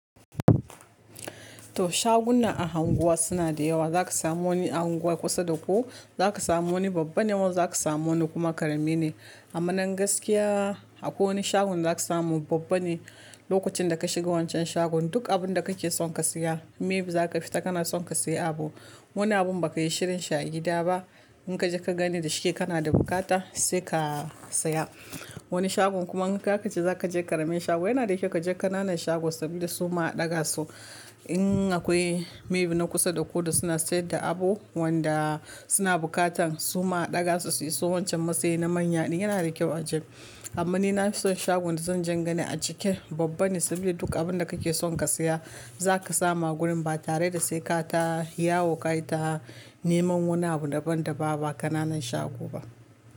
To shaguna a unguwa suna da yawa. Za ka samu wani a anguwa kusa da ku. Za ka samu wani babba ne wani za ka samu wani kuma ƙarami ne. Amma nan gaskiya akwai wani shagon da zaka samu babba ne. Lokacin da ka shiga wancan shagon duk abinda kake son ka siya, maybe za ka fita kana son ka siya abu. Wani abun ba ka yi shirin shi a gida ba. In ka je ka gani da shike kana da buƙata sai ka siya. Wani shagon kuma in ka ce za ka je ƙaramin shago yana da kyau ka je ƙananan shago saboda su ma a ɗaga su. In akwai maybe na kusa da ku da suna sayar da abu wanda suna buƙatan su ma a ɗaga su su yi so wancan matsayi na manya din yana da kyau a je amma ni na fi son shagon da zan je gani a cike babba ne saboda duk abinda kake son ka siya za ka samu a gurin ba tare da sai ka ta yawo kayi ta neman wani abu daban-daban ba ƙananan shago ba.